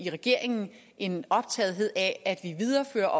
regeringen en optagethed af at vi viderefører